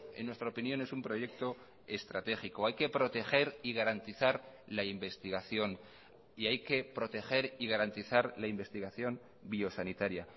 en nuestra opinión es un proyecto estratégico hay que proteger y garantizar la investigación y hay que proteger y garantizar la investigación biosanitaria